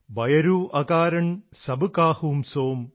ബയരൂ അകാരണ് സബ കാഹൂ സോം